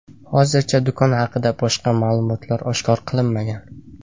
Hozircha, do‘kon haqida boshqa ma’lumotlar oshkor qilinmagan.